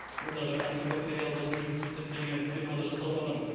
мұндағы антибактериалды сұйықтық тіркелген фирмада жасалмаған